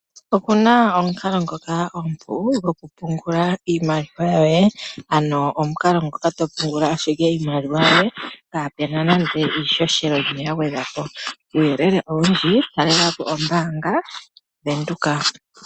Opuna omukalo ngoka omupu goku pungula iimaliwa yoye, ano omukalo ngoka to pungula ashike iimaliwa yoye kaapu na nande iihohela yimwe ya gwedhwa po. Kuuyelele owundji talela po ombaanga yaVenduka.